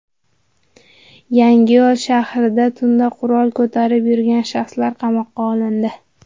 Yangiyo‘l shahrida tunda qurol ko‘tarib yurgan shaxslar qamoqqa olindi.